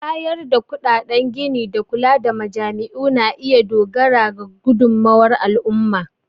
Bayar da kuɗaɗen gini da kula da majami'u na iya dogara ga gudummawar al'umma.